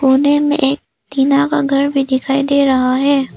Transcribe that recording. कोने में एक टीना का घर भी दिखाई दे रहा है।